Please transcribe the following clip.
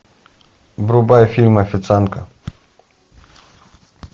врубай фильм официантка